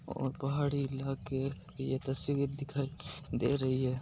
यह पहाड़ी इलाके की तस्वीर दिखाय दे रही है।